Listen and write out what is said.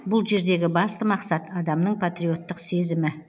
бұл жердегі басты мақсат адамның патриоттық сезімі